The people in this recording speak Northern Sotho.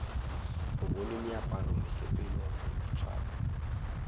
o bone meaparo mesepelo boitshwaro